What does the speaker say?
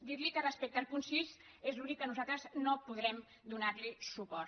dir li que respecte al punt sis és l’únic al qual nosaltres no podrem donar li suport